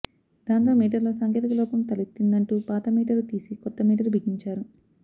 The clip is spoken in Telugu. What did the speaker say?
దాంతో మీటరులో సాంకేతిక లోపం తలెత్తిందంటూ పాత మీటరు తీసి కొత్త మీటరు బిగించారు